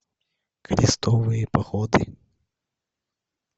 крестовые походы